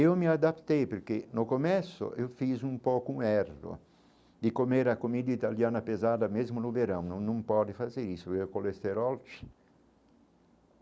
Eu me adaptei, porque no começo eu fiz um pouco um erro de comer a comida italiana pesada mesmo no verão, não não pode fazer isso, é colesterol.